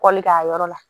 Kɔli k'a yɔrɔ la